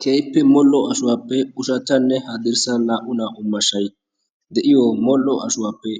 keehippe mol7o ashuwaappe ushachchanne haddirssan naa77u naa77u mashshai de7iyo mol77o ashuwaappe